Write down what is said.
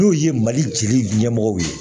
N'o ye mali jeli ɲɛmɔgɔw ye